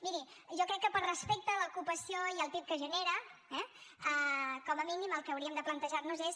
miri jo crec que per respecte a l’ocupació i al pib que genera eh com a mínim el que hauríem de plantejar nos és